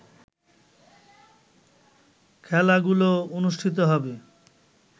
খেলাগুলো অনুষ্ঠিত হবে